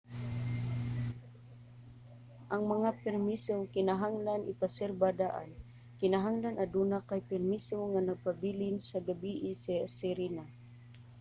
ang mga permiso kinahanglan ipareserba daan. kinahanglan aduna kay permiso nga magpabilin sa gabii sa sirena